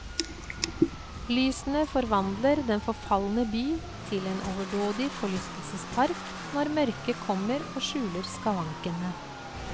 Lysene forvandler den forfalne by til en overdådig forlystelsespark når mørket kommer og skjuler skavankene.